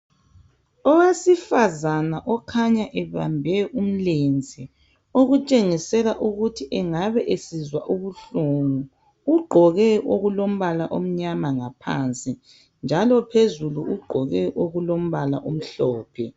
Owesifazana okhanya ebambe umlenze okutshengisela ukuthi engabe esizwa ubuhlungu ugqoke okulombala omnyama ngaphansi njalo phezulu ugqoke okulombala omhlophe.